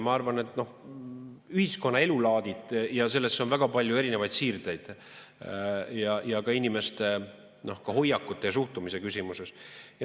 Ma arvan, et ühiskonna elulaadides on väga palju erinevaid siirdeid ja ka inimeste hoiakute ja suhtumise küsimuses.